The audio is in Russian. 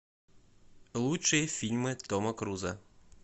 лучшие фильмы тома круза